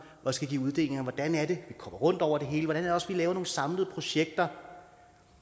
og skal give uddelinger hvordan er det vi kommer rundt over det hele hvordan er det også vi laver nogle samlede projekter